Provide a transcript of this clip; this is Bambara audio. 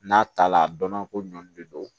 N'a ta la a dɔnna ko ɲɔn de don